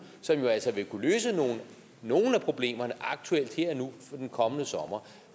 som jo altså vil kunne løse nogle af problemerne aktuelt her og nu i den kommende sommer